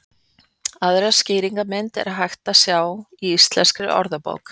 Aðra skýringarmynd er hægt að sjá í Íslenskri orðabók.